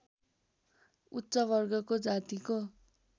उच्च वर्गको जातिको